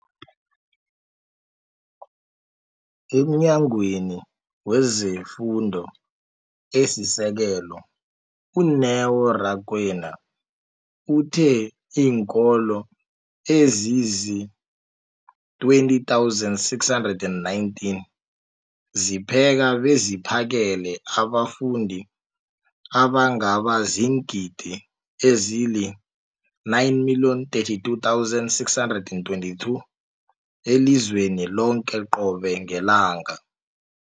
EmNyangweni wezeFundo esiSekelo, u-Neo Rakwena, uthe iinkolo ezizi-20 619 zipheka beziphakele abafundi abangaba ziingidi ezili-9 032 622 elizweni loke qobe ngelanga.